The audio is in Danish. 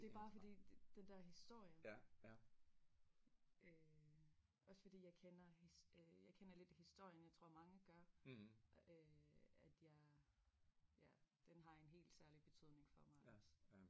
Det bare fordi den dér historie øh også fordi jeg kender øh jeg kender lidt historien jeg tror mange gør øh at jeg ja den har en helt særlig betydning for mig også